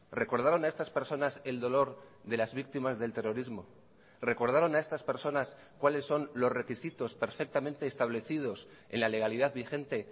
recordaron a estas personas el dolor de las víctimas del terrorismo recordaron a estas personas cuáles son los requisitos perfectamente establecidos en la legalidad vigente